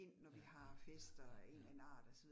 Ja, ja, ja, ja, ja